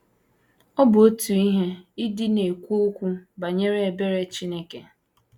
Ọ bụ otu ihe ịdị na - ekwu okwu banyere ebere Chineke.